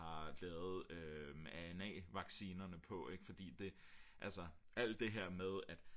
lavet ANA-vaccinerne på ik fordi det altså alt det her med at